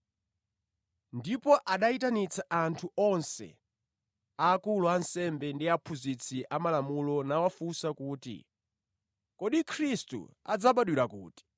Ndipo anayitanitsa anthu onse, akulu ansembe ndi aphunzitsi amalamulo nawafunsa kuti, “Kodi Khristu adzabadwira kuti?”